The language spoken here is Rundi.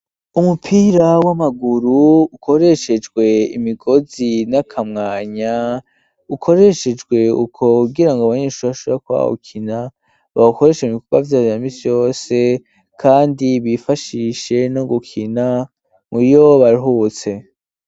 Umupira w'amaguru ukoreshejwe imigozi, n'akamwanya ,ukoreshejwe uko kugira ngo abanyeshure bashobore kuba bowukina, bawukoreshe ibikorwa vya misi yose ,kandi bifashishe no gukina muriyo baruhutse.